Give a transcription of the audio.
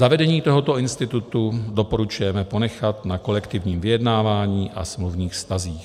Zavedení tohoto institutu doporučujeme ponechat na kolektivním vyjednávání a smluvních vztazích.